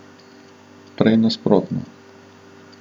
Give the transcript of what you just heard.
Prej nasprotno.